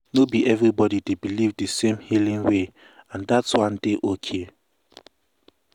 no be everybody dey believe di same healing way and dat one dey ok.